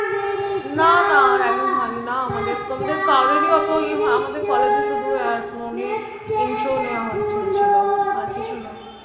না না ragging হয়নি, না আমাদের কারুরই এতো আমাদের college এ শুধু intro নেওয়া হয়েছিলো, আর কিছু না।